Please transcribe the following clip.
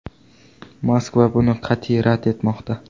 Moskva buni qat’iy rad etmoqda.